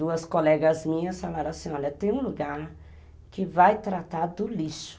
Duas colegas minhas falaram assim, olha, tem um lugar que vai tratar do lixo.